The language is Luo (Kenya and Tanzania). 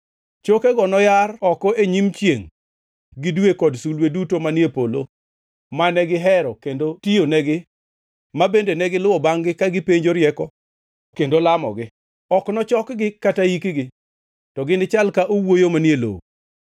Chokego noyar oko e nyim chiengʼ gi dwe kod sulwe duto manie polo mane gihero kendo tiyonegi ma bende negiluwo bangʼ-gi ka gipenjo rieko kendo lamogi. Ok nochokgi kata ikgi, to ginichal ka owuoyo manie lowo.